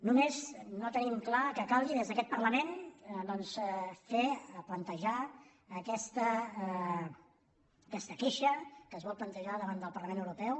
només no tenim clar que calgui des d’aquest parlament doncs fer plantejar aquesta queixa que es vol plantejar davant del parlament europeu